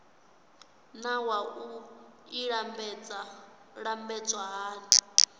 naa wua i lambedzwa hani